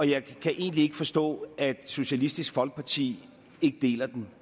jeg kan egentlig ikke forstå at socialistisk folkeparti ikke deler den